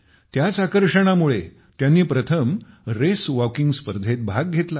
त्याच आकर्षणामुळे त्यांनी प्रथम रेसवॉकिंग स्पर्धेत भाग घेतला